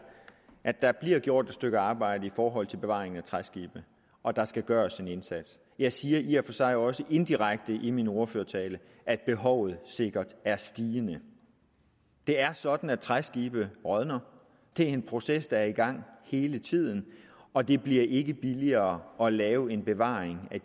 at der bliver gjort et stykke arbejde i forhold til bevaring af træskibene og der skal gøres en indsats jeg siger i og for sig også indirekte i min ordførertale at behovet sikkert er stigende det er sådan at træskibe rådner det er en proces der er i gang hele tiden og det bliver ikke billigere at lave en bevaring af